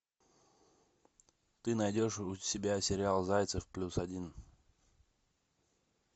ты найдешь у себя сериал зайцев плюс один